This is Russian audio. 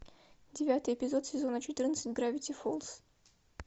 девятый эпизод сезона четырнадцать гравити фолз